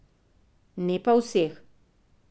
Ne pa vseh.